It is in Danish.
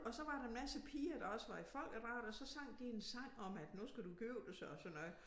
Og så var der en masse piger der også var i folkedragter så sang de en sang om at nu skal du giftes og sådan noget